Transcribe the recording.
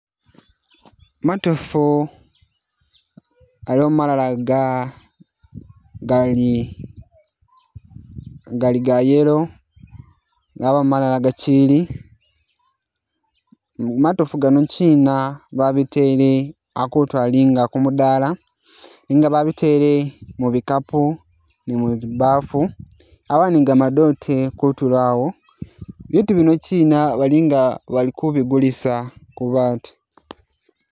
Matofu,, aliwo malala gali ga yellow yabawo malala gakyili , matofu gano kyina babitele akutu ali nga kumudala nenga babitele mu’bikapu ni muzi bafu yaba ni gamadote kutulo awo , bitu bino kyina balinga bakubigulisa kubatu.